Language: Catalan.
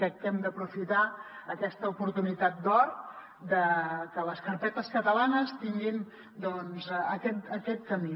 crec que hem d’aprofitar aquesta oportunitat d’or de que les carpetes catalanes tinguin doncs aquest camí